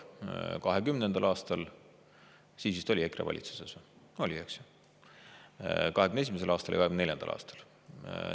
2020. aastal, siis vist oli EKRE valitsuses – oli, eks ju –, 2021. aastal ja 2024. aastal.